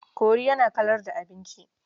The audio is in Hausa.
Kori yana kalar da abinci.